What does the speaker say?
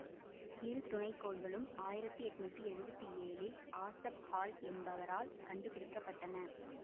இரு துணைக்கோள்களும் ஆயிரத்தி எண்ணூற்றி எழுவத்தி ஏழிள் ஆசப் ஹால் என்பவரால் கண்டுபிடிக்க பட்டன